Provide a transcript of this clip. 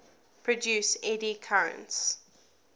produce eddy currents